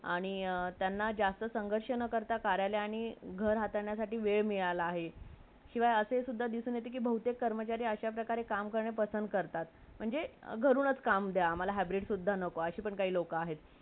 आणि त्यानलं जस्ट संघर्ष करताना कार्यालय नि घर हातानं वेळ मिराला आहे शिवय असून सुद्धा दिसून येते कि कार्यालय कर्मचारी अशा पद्धतीने काम करणे पसंद करतात . घरूनच काम द्या , hybrid पण नको अशी पण लोक आहेत